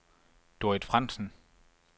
Dorrit Frandsen